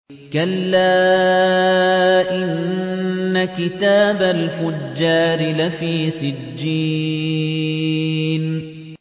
كَلَّا إِنَّ كِتَابَ الْفُجَّارِ لَفِي سِجِّينٍ